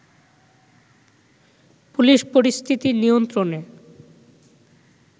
police পরিস্থিতি নিয়ন্ত্রণে